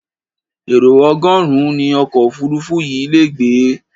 Èrò ọgọ́rùn-ún ni ọkọ̀ òfuurufú yìí le gbé.